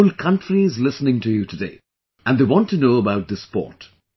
The whole country is listening to you today, and they want to know about this sport